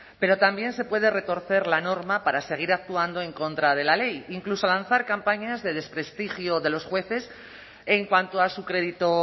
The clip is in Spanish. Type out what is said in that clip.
pero también se puede retorcer la norma para seguir actuando en contra de la ley incluso lanzar campañas de desprestigio de los jueces en cuanto a su crédito